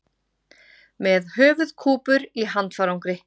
Með höfuðkúpur í handfarangri